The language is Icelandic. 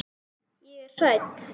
Ég er hrædd.